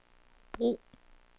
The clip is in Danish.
brug